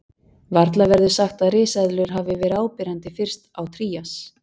Varla verður sagt að risaeðlur hafi verið áberandi fyrst á Trías.